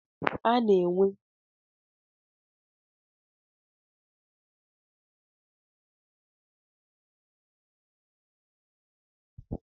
A na-enwe ekele maka iguzosi ike n'ihe ma n'ọbụbụenyi na mmekọrịta ọkachamara.